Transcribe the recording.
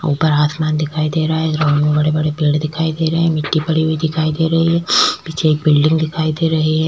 उपर आसमान दिखाई दे रहा है और बड़े-बड़े पेड़ दिखाई दे रहे है मिट्टी पड़ी हुई दिखाई दे रही है पीछे एक बिल्डिंग दिखाई दे रहे है--